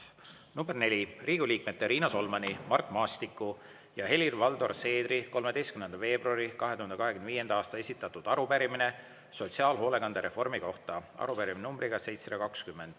Number neli: Riigikogu liikmete Riina Solmani, Mart Maastiku ja Helir-Valdor Seedri 13. veebruari 2025. aasta esitatud arupärimine sotsiaalhoolekande reformi kohta, arupärimine numbriga 720.